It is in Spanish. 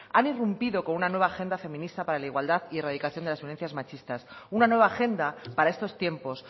han irrumpido con una nueva agenda feminista para la igualdad y la erradicación de violencias machistas una nueva agenda para estos tiempos